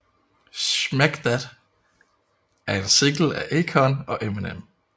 Smack That er en single af Akon og Eminem